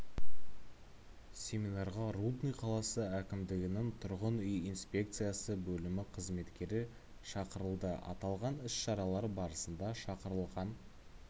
семинарға рудный қаласы әкімдігінің тұрғын үй инспекциясы бөлімі қызметкері шақырылды аталған іс шаралар барысында шақыралылған